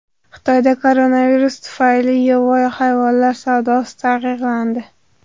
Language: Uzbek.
Xitoyda koronavirus tufayli yovvoyi hayvonlar savdosi taqiqlandi.